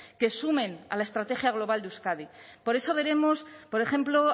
que sumen a la estrategia global de euskadi por eso veremos por ejemplo